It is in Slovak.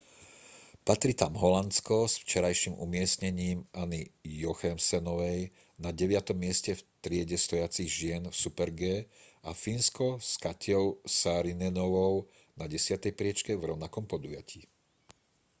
patrí tam holandsko s včerajším umiestnením anny jochemsenovej na deviatom mieste v triede stojacich žien v super-g a fínsko s katjou saarinenovou na desiatej priečke v rovnakom podujatí